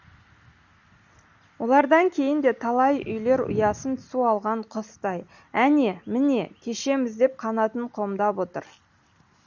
олардан кейін де талай үйлер ұясын су алған құстай әне міне кешеміз деп қанатын қомдап отыр